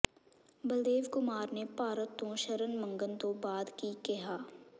ਬਲਦੇਵ ਕੁਮਾਰ ਨੇ ਭਾਰਤ ਤੋਂ ਸ਼ਰਨ ਮੰਗਣ ਤੋਂ ਬਾਅਦ ਕੀ ਕਿਹਾ